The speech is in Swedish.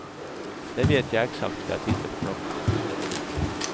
Det vet jag exakt för jag tittade på klockan.